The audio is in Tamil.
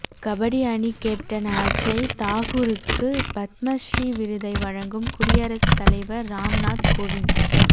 கபடி அணி கேப்டன் அஜய் தாகூருக்கு பத்மஸ்ரீ விருதை வழங்கும் குடியரசு தலைவர் ராம்நாத் கோவிந்த்